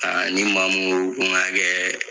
ni maa mun koo ko ŋa kɛɛ